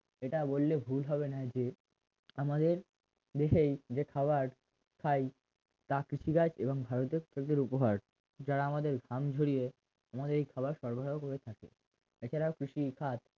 ইটা বললে ভুল হবেনা যে আমাদের দেশেই যে খাবার খাই তা কৃষিকাজ এবং ভারতের সেচের উপহার যারা আমাদের ঘাম ঝরিয়ে আমাদেরই খাবার সরবরাহ করে থাকে এছারাও কৃষিকাজ